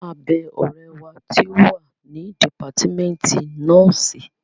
A máa bẹ ọ̀rẹ́ wa tí ó wà ní dìpátímẹ́ǹtì nọ́ọ̀sì